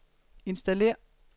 installér